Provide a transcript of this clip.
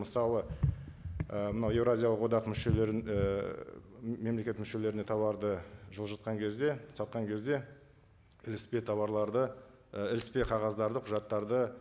мысалы і мынау еуразиялық одақ мүшелерін ііі мемлекет мүшелеріне тауарды жылжытқан кезде сатқан кезде іліспе тауарларды і іліспе қағаздарды құжаттарды